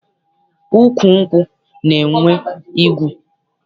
Ukwu nkwụ na-enwe igu.